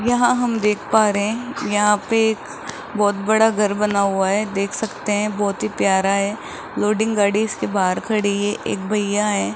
यहां हम देख पा रहे हैं यहां पे बहुत बड़ा घर बना हुआ है देख सकते हैं बहुत ही प्यारा है लोडिंग गाड़ी इसके बाहर खड़ी है एक भैया है।